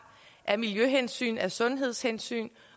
af miljøhensyn af sundhedshensyn